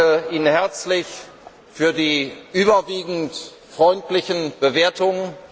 Ich danke Ihnen herzlich für die überwiegend freundlichen Bewertungen.